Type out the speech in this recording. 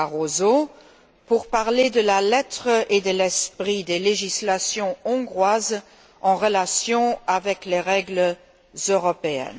Barroso, pour parler de la lettre et de l'esprit des législations hongroises en relation avec les règles européennes.